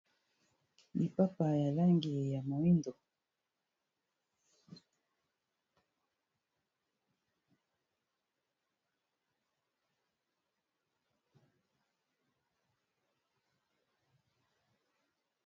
Lipapa ya langi ya moyindo.